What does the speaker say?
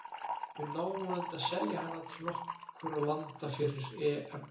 Við náum vonandi að selja hana til nokkurra landa fyrir EM.